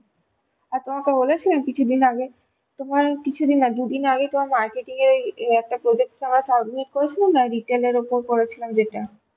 আর তোমাকে বলেছিলাম কিছুদিন আগে তোমার কিছুদিন আগে নয় দুদিন আগে তোমার marketing এর একটা ওই একটা project করে submit করেছিলাম না Retailএর উপর করেছিলাম যেটা